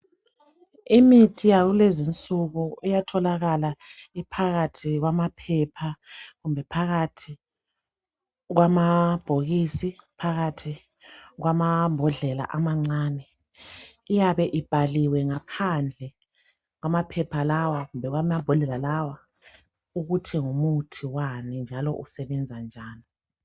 imithi yakulezi insuku iyatholakala iphakathi kwamaphepha kumbe phakathi kwamabhokisi kumbe phakathi kwamambodlela amancane iyabe ibhaliwe ngaphandle kwamphepha lawa kumbe kwamambodlela lawa ukuthi ngumuthi wani futhi usebenzani